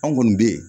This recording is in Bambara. An kɔni bɛ yen